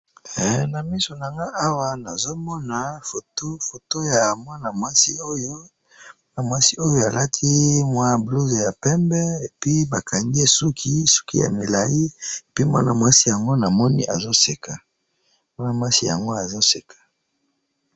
Na moni mwana mwasi ba kangiye suki, alati mopila ya pembe pe azo seka.